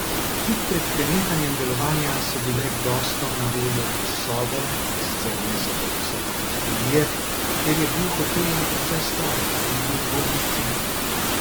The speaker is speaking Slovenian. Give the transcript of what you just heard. Tik pred prenehanjem delovanja so bile gostom na voljo sobe, sicer ne zelo visoke kategorije, ker je bil hotel že precej star, in po ugodnih cenah.